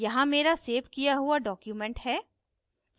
यहाँ here save किया हुआ document है